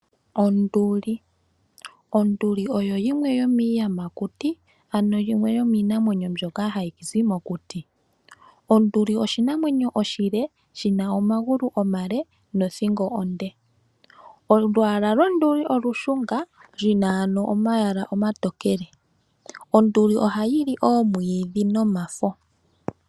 Onduli oyo yimwe yomiiyamakuti ano yimwe yomiinamwenyo mbyoka hayi zi mokuti . Onduli oshinamwenyo oshile, shi na omagulu omale nothingo onde . Olwaala londuli olushunga lu na omayala omatokele, onduli ohayi li oomwiidhi nomafo.